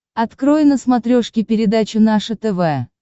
открой на смотрешке передачу наше тв